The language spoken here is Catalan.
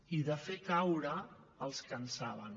i de fer caure els que en saben